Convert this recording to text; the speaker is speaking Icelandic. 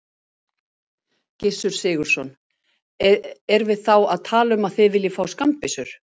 Gissur Sigurðsson: Erum við þá að tala um að þið viljið fá skammbyssur?